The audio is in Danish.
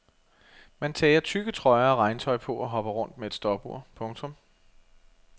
Man tager tykke trøjer og regntøj på og hopper rundt med et stopur. punktum